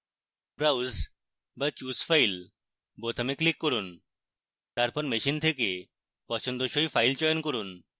browse বা choose file বোতামে click করুন